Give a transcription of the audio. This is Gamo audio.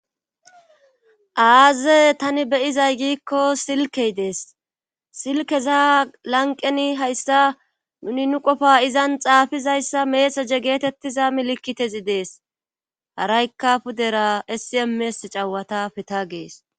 aaze tani beyizay giikko silkey dees silkeza lanqeni hayssa nuni nu qofa izan xaafizayssa meesa je geetettiza milikkitezi dees haraykka pudera essiemees cawata peta gees